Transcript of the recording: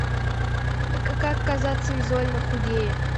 как казаться визуально худее